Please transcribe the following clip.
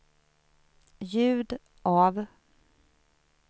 ljud av